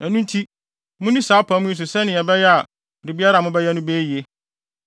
Ɛno nti, munni saa apam yi so sɛnea ɛbɛyɛ a biribiara a mobɛyɛ no bɛyɛ yiye.